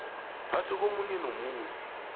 phambi komunye nomunye